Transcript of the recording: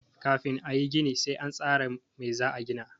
Kafin a yi gini sai an tsara mai za a gina.